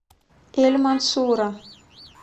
эль мансура